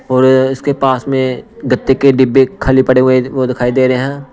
और इसके पास में गत्ते के डिब्बे खाली पड़े हुए वह दिखाई दे रहे हैं।